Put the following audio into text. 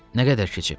Nə qədər keçib?